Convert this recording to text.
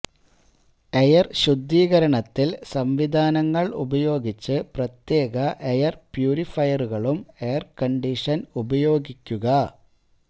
air ശുദ്ധീകരണത്തിൽ സംവിധാനങ്ങൾ ഉപയോഗിച്ച് പ്രത്യേക എയർ പ്യൂരിഫയറുകളും എയർ കണ്ടീഷൻ ഉപയോഗിക്കുക